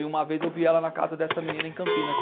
E uma vez eu vi ela na casa dessa menina em Campinas.